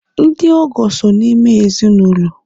ndị ọgọ so n'ime ezi n' ụlọ